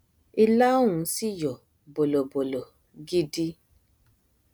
ilá ọhún sì yọ bọlọbọlọ gidi